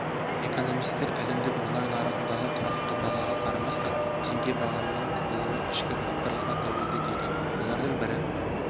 экономистер әлемдік мұнай нарығындағы тұрақты бағаға қарамастан тенге бағамының құбылуы ішкі факторларға тәуелді дейді олардың бірі